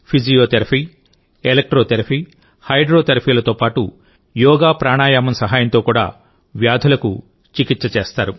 physiotherapy electrotherapy హైడ్రోథెరపీలతో పాటు యోగాప్రాణాయామం సహాయంతో కూడా వ్యాధులకు చికిత్స చేస్తారు